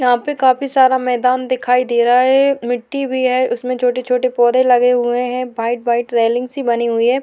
यहां पे काफी सारा मैदान दिखाई दे रहा है मिट्टी भी है उसमें छोटे छोटे पौधे लगे हुए है व्हाइट व्हाइट रेलिंग सी बनी हुई है।